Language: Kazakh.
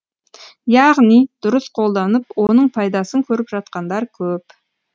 яғни дұрыс қолданып оның пайдасын көріп жатқандар көп